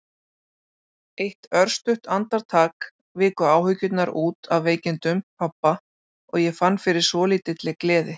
Eitt örstutt andartak viku áhyggjurnar út af veikindum pabba og ég fann fyrir svolítilli gleði.